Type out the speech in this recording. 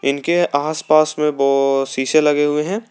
इनके आस पास में शीशे लगे हुए हैं।